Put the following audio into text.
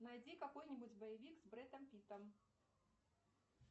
найди какой нибудь боевик с брэдом питтом